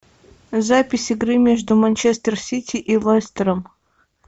запись игры между манчестер сити и лестером